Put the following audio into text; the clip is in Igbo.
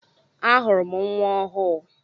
Ahụrụ m nnwa ọhụụ.